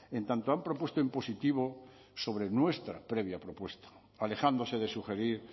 en tanto han propuesto en positivo sobre nuestra previa propuesta alejándose de sugerir